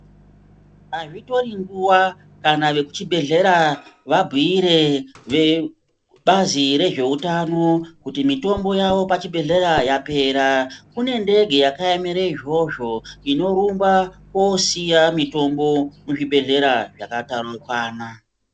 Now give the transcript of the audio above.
Azvitori nguwa kana vekuchibhedhlera vabhuire vebazi rezveutano kuti mitombo yawo pachibhedhlera yapera, kune ndege yakaemere izvozvo inorumba koosiya mitombo muzvibhedhlera zvakataraukana.